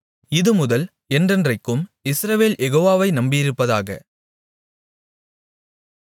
இதுமுதல் என்றென்றைக்கும் இஸ்ரவேல் யெகோவாவை நம்பியிருப்பதாக